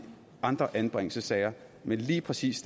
andre anbringelsessager men lige præcis